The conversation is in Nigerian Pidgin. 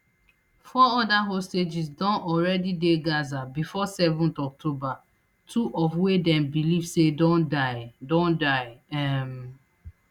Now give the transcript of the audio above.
four oda hostages don already dey gaza bifor seven october two of wey dem believe say don die don die um